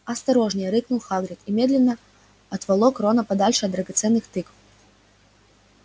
осторожнее рыкнул хагрид и немедленно отволок рона подальше от драгоценных тыкв